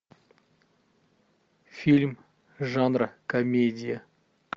фильм жанра комедия